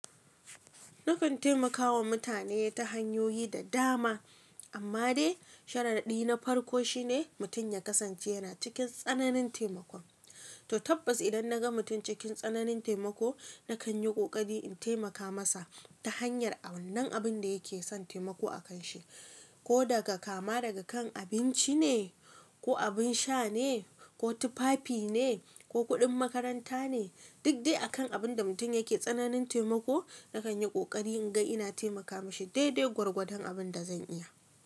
Nakan taimakawa mutane ta hanyoyi da dama amma dai shararɗi na farko shine mutum ya kasance yana cikin tsananin taimakon to tabbas idan naga mutum cikin tsananin taimako nakan yi ƙoƙari in taimaka masa ta hanyar a wannan abin da yake son taimako akanshi ko daga kama daga kan abinci ne ko abin sha ne ko tufafi ne ko kuɗin makaranta ne. Duk dai akan abin da mutum yake tsananin taimako nakan yi ƙoƙari in ga ina taimaka mishi dai dai gwargwadon abin da zan iya.